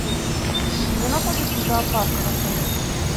где находится зоопарк в отеле